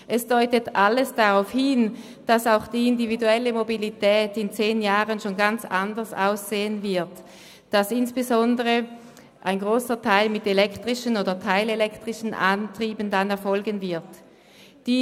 Es deutet alles darauf hin, dass auch die individuelle Mobilität in zehn Jahren schon ganz anders aussehen wird und insbesondere ein grosser Teil mit elektrischen oder teilelektrischen Antrieben erfolgen wird.